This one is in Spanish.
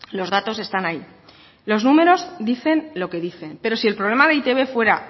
los datos están ahí los números dicen lo que dicen pero si el problema de e i te be fuera